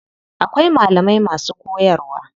Akwai malamai masu koyarwa.